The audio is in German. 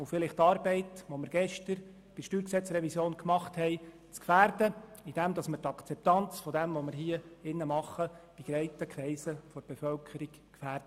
Letzteres könnte dazu führen, dass die gestern im Rahmen der StG-Revision geleistete Arbeit infrage gestellt wird, indem wir die Akzeptanz dessen, was wir hier tun, bei breiten Kreisen der Bevölkerung gefährden.